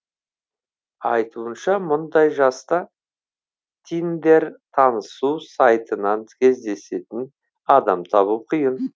айтуынша мұндай жаста тиндер танысу сайтынан кездесетін адам табу қиын